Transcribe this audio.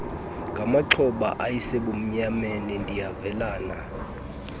ngamaxhoba ayesesebumnyameni ndiyavelana